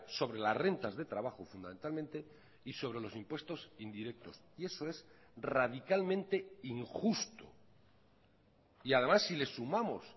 sobre las rentas de trabajo fundamentalmente y sobre los impuestos indirectos y eso es radicalmente injusto y además si les sumamos